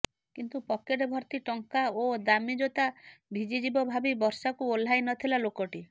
କିନ୍ତୁ ପକେଟ ଭର୍ତ୍ତି ଟଙ୍କା ଓ ଦାମି ଜୋତା ଭିଜିଯିବ ଭାବି ବର୍ଷାକୁ ଓହ୍ଲାଇ ନଥିଲା ଲୋକଟି